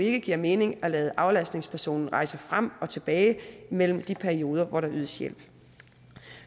ikke giver mening at lade aflastningspersonen rejse frem og tilbage mellem de perioder hvor der ydes hjælp